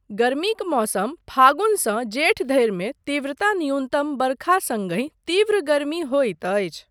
गर्मीक मौसम फागुनसँ जेठधरि मे तीव्रता न्यूनतम वर्षा सङ्गहि तीव्र गर्मी होइत अछि।